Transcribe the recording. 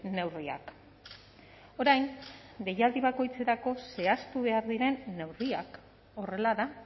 neurriak orain deialdi bakoitzerako zehaztu behar diren neurriak horrela da